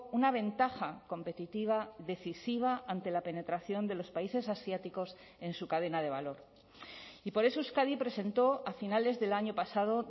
una ventaja competitiva decisiva ante la penetración de los países asiáticos en su cadena de valor y por eso euskadi presentó a finales del año pasado